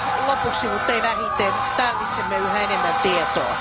Lopuksi, mutta ei vähiten, tarvitsemme yhä enemmän tietoa.